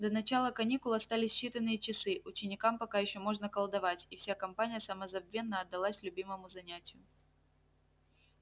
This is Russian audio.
до начала каникул остались считанные часы ученикам пока ещё можно колдовать и вся компания самозабвенно отдалась любимому занятию